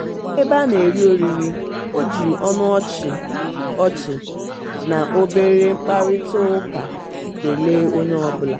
n'ebe a na-eri oriri o ji ọnụ ọchị ọchị na obere mkparịtaụka kelee onye ọbụla.